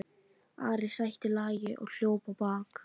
Ari sætti lagi og hljóp á bak.